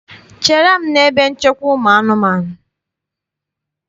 Chere m n'ebe nchekwa ụmụanụmaụ!